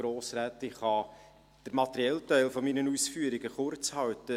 Ich kann den materiellen Teil meiner Ausführungen kurzhalten.